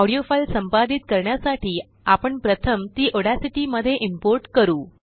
audio file संपादित करण्यासाठी आपण प्रथमतीऑड्यासिटीमध्ये इम्पोर्ट करू